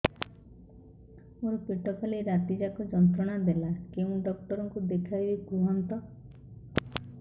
ମୋର ପେଟ କାଲି ରାତି ଯାକ ଯନ୍ତ୍ରଣା ଦେଲା କେଉଁ ଡକ୍ଟର ଙ୍କୁ ଦେଖାଇବି କୁହନ୍ତ